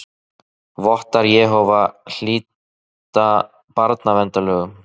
Vottar Jehóva hlýta barnaverndarlögum